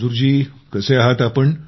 मंजूर जी कसे आहात आपण